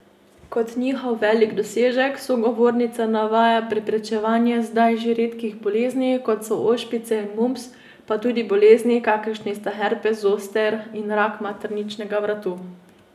Kot njihov velik dosežek sogovornica navaja preprečevanje zdaj že redkih bolezni, kot so ošpice in mumps, pa tudi bolezni, kakršni sta herpes zoster in rak materničnega vratu.